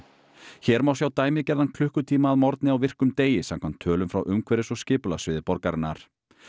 hér má sjá dæmigerðan klukkutíma að morgni á virkum degi samkvæmt tölum frá umhverfis og borgarinnar